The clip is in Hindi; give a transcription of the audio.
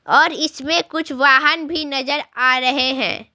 और इसमें कुछ वाहन भी नजर आ रहे हैं।